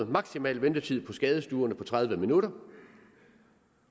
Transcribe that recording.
maksimal ventetid på skadestuerne på tredive minutter